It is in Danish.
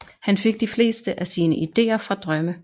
Han fik de fleste af sine idéer fra drømme